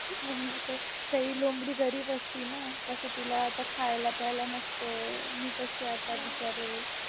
म्हणून तर काही लोमडी गरीब असते ना कसं तिला आता खायला-प्यायला नसतं मी कशी आता बिचारे